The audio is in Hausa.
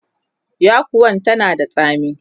yakuwan tana da tsami